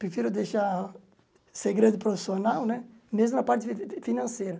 Prefiro deixar ser grande profissional né, mesmo na parte fi financeira.